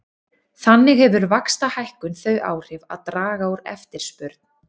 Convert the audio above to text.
Þannig hefur vaxtahækkun þau áhrif að draga úr eftirspurn.